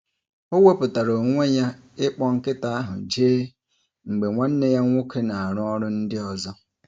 O wepuatara onwe ya ịkpọ nkịta ahụ gaa ije mgbe nwanne ya nwoke na-arụ ọrụ ndị ọzọ.